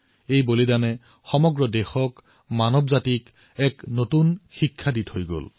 এই দেহত্যাগে সম্পূৰ্ণ মানৱতাক দেশক নতুন শিকনি প্ৰদান কৰিছে